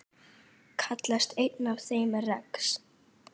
Kallast einn af þeim rex.